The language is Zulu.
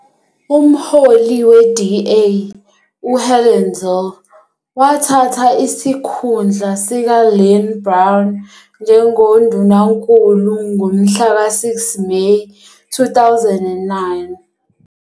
Umholi we-DA uHelen Zille wathatha isikhundla sikaLynne Brown njengoNdunankulu ngomhlaka 6 Meyi 2009.